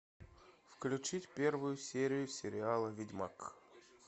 включить первую серию сериала ведьмак